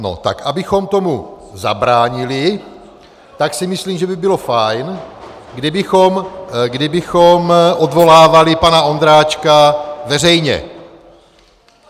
No tak abychom tomu zabránili, tak si myslím, že by bylo fajn, kdybychom odvolávali pana Ondráček veřejně.